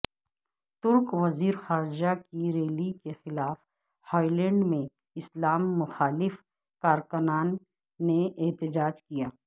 ترک وزیر خارجہ کی ریلی کے خلاف ہالینڈ میں اسلام مخالف کارکنان نے احتجاج کیا